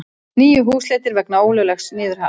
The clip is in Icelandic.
Níu húsleitir vegna ólöglegs niðurhals